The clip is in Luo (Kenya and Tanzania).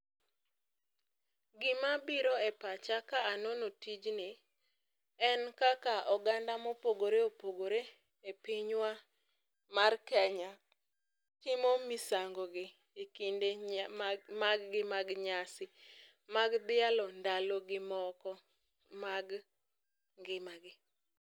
Gima biro e pacha ka anono tijni, en kaka oganda mopogore opogore e pinywa mar Kenya, timo misango gi e kinde mag gi mag nyasi mag dhialo ndalo gi moko mag ngimagi.